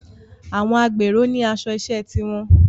Àwọn agbèrò ní aṣọ iṣẹ́ ti wọn